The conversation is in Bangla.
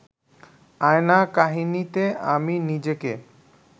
আয়না কাহিনীতে আমি নিজেকে